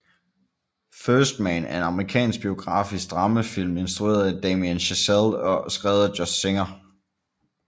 First Man er en amerikansk biografisk dramafilm instrueret af Damien Chazelle og skrevet af Josh Singer